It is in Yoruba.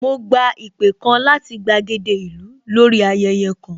Mo gba ìpè kan láti gbàgede ìlú lórí ayẹyẹ kan